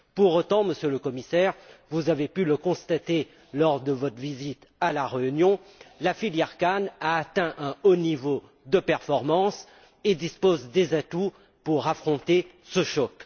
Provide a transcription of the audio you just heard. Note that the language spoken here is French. Pour autant, Monsieur le Commissaire vous avez pu le constater lors de votre visite à la Réunion la filière canne a atteint un haut niveau de performance et dispose des atouts pour affronter ce choc.